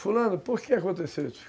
Fulano, por que aconteceu isso?